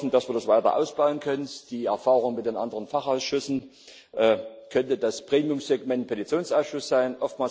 Wir hoffen, dass wir das weiter ausbauen können. Die Erfahrung mit den anderen Fachausschüssen könnte das Premiumsegment Petitionsausschuss sein.